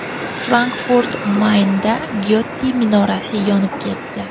Frankfurt-Maynda Gyote minorasi yonib ketdi.